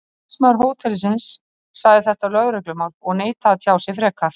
Talsmaður hótelsins sagði þetta lögreglumál og neitaði að tjá sig frekar.